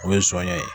O ye sɔnɲɛ ye